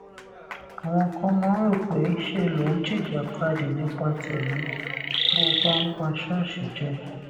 àwọn kan máa ń rò pé ńṣe lo ń jìjàkadì nípa tèmí bó o bá ń pa ṣóòṣì jẹ